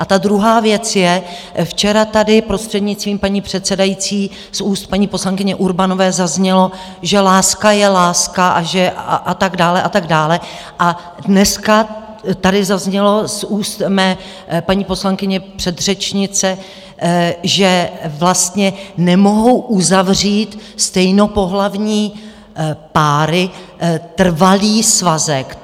A ta druhá věc je: včera tady, prostřednictvím paní předsedající, z úst paní poslankyně Urbanové zaznělo, že láska je láska a tak dále a tak dále, a dneska tady zaznělo z úst mé paní poslankyně, předřečnice, že vlastně nemohou uzavřít stejnopohlavní páry trvalý svazek.